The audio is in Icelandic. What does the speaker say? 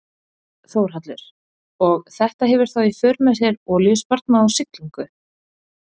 Þórhallur: Og þetta hefur þá í för með sér olíusparnað á siglingu?